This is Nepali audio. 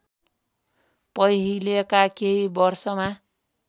पहिलेका केही वर्षमा